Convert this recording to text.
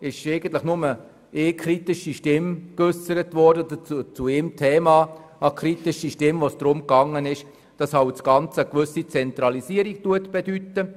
Es wurde nur eine Kritik geäussert, und zwar, weil das Projekt eine gewisse Zentralisierung mit sich bringt.